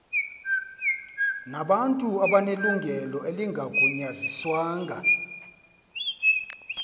nabantu abanelungelo elingagunyaziswanga